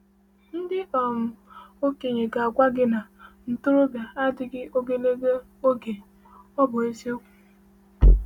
Ndị um okenye ga-agwa gị na ntorobịa adịghị ogologo oge, ọ bụ eziokwu.